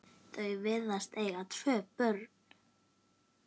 Þau virðast eiga tvö börn.